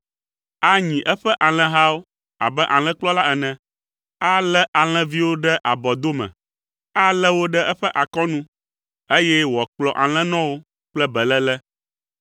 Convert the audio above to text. Anyi eƒe alẽhawo abe alẽkplɔla ene; alé alẽviawo ɖe abɔdome, alé wo ɖe eƒe akɔnu, eye wòakplɔ alẽnɔwo kple beléle.